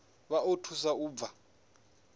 vha o thusa u bva